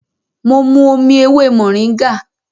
Mo mu omi ewé mòríngà